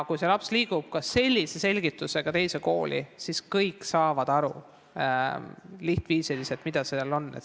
Kui laps liigub sellise selgitusega teise kooli, siis kõik saavad aru, mida on mõeldud.